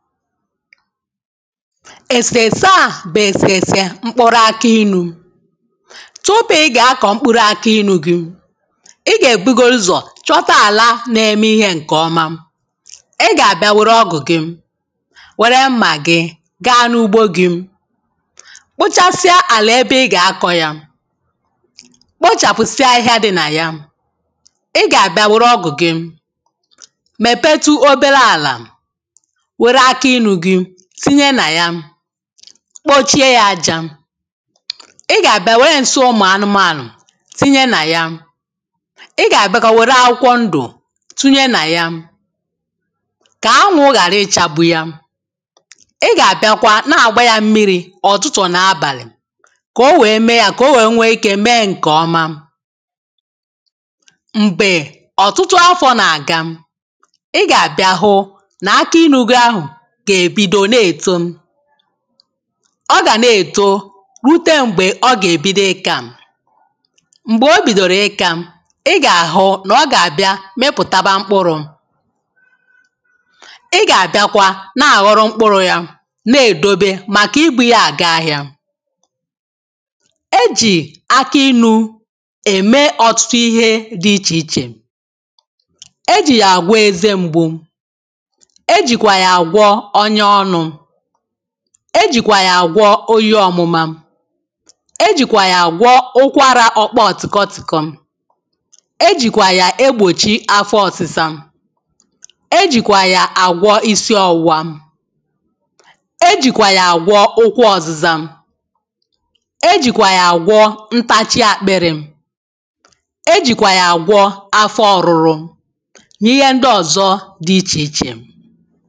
ẹ̀sẹ̀sẹ à bụ̀ ẹ̀sẹ̀sẹ̀ mkpụrụ akụ inū tupu ị gà akọ̀ mkpụrụ akụ inū gị ị gà e bugoru ụzọ̀ chọta àla na-ẹmẹ ihē ṅ̀ke ọma ị gà àbịa wẹ̀rẹ ọgụ̀ gị̄ wẹ̀rẹ mmà gị̄ gā n’ugbo gị̄ kpochasia àlà ẹbẹ ị gà akọ̄ yā kpochàpusia ahịhịa dị̄ nà yā i gà àbịa wẹ̀rẹ ọgụ̀ gị mẹ̀pẹtụ ọbẹrẹ àlà wèrè akụ ịnụ̄ gị tinyẹ nà yā kpochie yā ajā ị gà àbịa wẹrẹ ǹsi ụmụ̀ anụmànụ̀ tinyẹ nà yā ị gà àbịakwa wẹ̀rẹ̀ akwụkwọ ndụ̀ tụnyẹ nà yā kà anwụ̄ ghàra ị chagbu yā ị gà àbịakwa na-àgba yā mmìrī ọ̀tụtụ̀ nà abàlì kà ọ wee mee yā ka ọ wee nwẹ ike mẹẹ ǹ̇kẹ ọma m̀gbè ọtụtụ afọ̀ nà àga ị gà àbịa hu nà akụ inū gị ahụ̀ gà èbido nà èto ọ gà nà èto rute m̀gbè ọ gà èbido ịkā m̀gbẹ̀ o bìdòrò ịkā ị gà àhụ nà ọ gà àbịa mịpụ̀taba mkpụrụ̄ ị gà àbịakwa nà-àghọrọ mkpụrụ̄ ya nà èdobe màkà ị bū yā àga ahịā e jị̀ akụ inū ème ọtụtụ ihē dị ichè ichè e jị̀ yà àgwọ eze mgbu e jị̀kwà yà àgwọ ọnya ọnụ̄ e jị̀kwà yà àgwọ oyi ọmụma e jị̀kwà yà àgwọ ụkwarà ọkpọ tịkọ tị̀kọ e jị̀kwà yà egbòchi afọ ọ̄sịsa e jị̀kwà yà àgwọ ịsị ọ̄wụwa e jị̀kwà yà àgwọ ụkwụ ọzịza e jị̀kwà yà àgwọ ntachị àkpịrị e jị̀kwà yà àgwọ afọ ọrụrụ nà ihe ndị ọ̀zọ dị ichè ichè